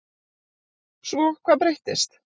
Svo hvað breyttist?